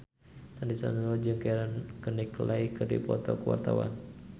Sandy Sandoro jeung Keira Knightley keur dipoto ku wartawan